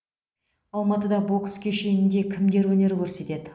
алматыда бокс кешенінде кімдер өнер көрсетеді